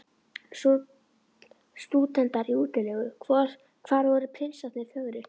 Stúdentar í útilegu: hvar voru prinsarnir fögru?